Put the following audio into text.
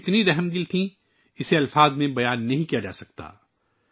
ان کی شفقت کی وسعت کو لفظوں میں بیان نہیں کیا جاسکتا